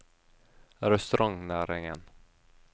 restaurantnæringen